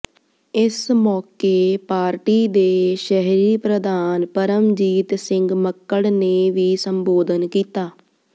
ਇਸ ਮੌਕੇ ਪਾਰਟੀ ਦੇ ਸ਼ਹਿਰੀ ਪ੍ਰਧਾਨ ਪਰਮਜੀਤ ਸਿੰਘ ਮੱਕੜ ਨੇ ਵੀ ਸੰਬੋਧਨ ਕੀਤਾ